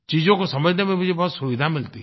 चीजों को समझने में मुझे बहुत सुविधा मिलती है